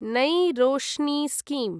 नै रोष्णि स्कीम्